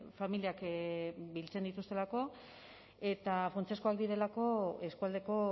familiak biltzen dituztelako eta funtsezkoak direlako eskualdeko